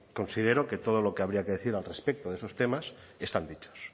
considero que todo lo que habría que decir al respecto de esos temas están dichos